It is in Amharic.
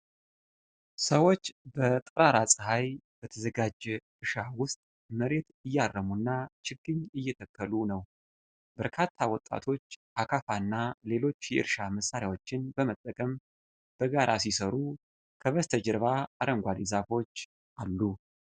ሰዎች በጠራራ ፀሐይ በተዘጋጀ እርሻ ውስጥ መሬት እያረሙና ችግኝ እየተከሉ ነው። በርካታ ወጣቶች አካፋና ሌሎች የእርሻ መሣሪያዎችን በመጠቀም በጋራ ሲሰሩ፣ ከበስተጀርባ አረንጓዴ ዛፎች አሉ።